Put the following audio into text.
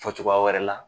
Fɔ cogoya wɛrɛ la